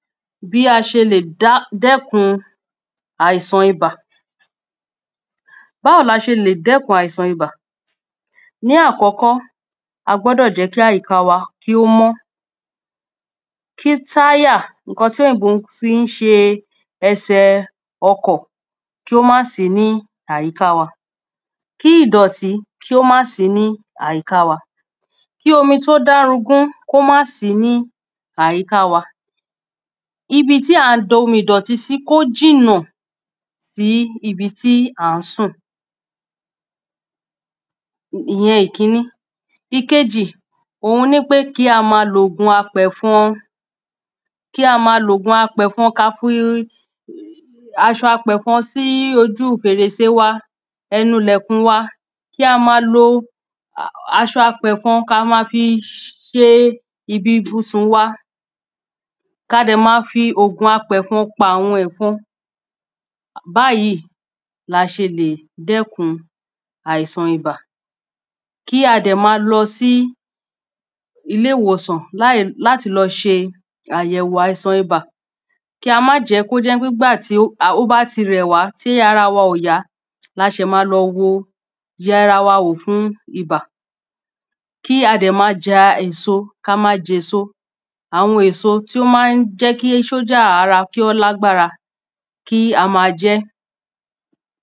bí a ṣe lè dẹ́kun àìsàn ibà Báwo ni a ṣe lè dẹ́kun àìsàn ibà? ní àkọ́kọ́ a gbọ́dọ̀ jẹ́ kí àyíka wa mọ́. kí táyà, ǹkan ti òyìnbó fi ń ṣe ẹsẹ̀ ọkọ̀ kí ó má sí ní àyíká wa. kí idọ̀tí kí ó má sìí ní àyíká wa. Kí omi tí o dárogún kí ó má sìí ní àyíká wa. ibi tí à ń da omi ìdọ̀tí sí, kí ó jìnà sí ibi tí à ń sùn. ìyẹn ìkíní. Ìkejì, òun ni pé kí a máa lo ògùn apẹ̀fọn. kí a máa lo ògùn apẹ̀fọn, kí á fi aṣọ apẹ̀fọn sí ojú fèrèsé wa, ẹnu ilẹ̀kùn wa. kí a máa lo aṣọ apẹ̀fọn kí a máa fi ṣe ibi ibùsùn wa. kí a de màa fi oògùn apẹ̀fọn pa àwọn ẹ̀fọn, báyìí la ṣe lè dẹ́kun àìsàn ibà. kí a dẹ̀ máa lọ sí ilé ìwòsàn láti lọ ṣe àyẹ̀wò àìsàn ibà. kí á máa jẹ́ kó jẹ́ pé ìgbàtí ó bá ti rẹ̀ wá, tí ara wa ò yá là ṣẹ̀ ma lọ yẹ ara wa wò fún ibà. kí a dẹ̀ máa jẹ èso, àwọn èso tí ó ma ń jẹ́ kí sójà ara kí o lágbára, kí a máa jẹ ẹ́.